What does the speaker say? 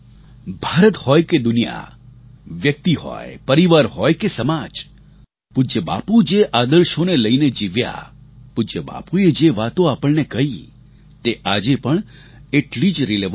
ભારત હોય કે દુનિયા વ્યક્તિ હોય પરિવાર હોય કે સમાજ પૂજ્ય બાપુ જે આદર્શોને લઈને જીવ્યા પૂજ્ય બાપુએ જે વાતો આપણને કહી તે આજે પણ એટલી જ રિલિવન્ટ છે